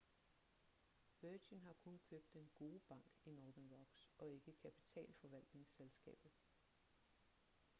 virgin har kun købt den gode bank i northern rocks og ikke kapitalforvaltningsselskabet